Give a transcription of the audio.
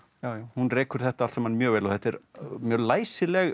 hún rekur þetta allt saman mjög vel og þetta er mjög læsileg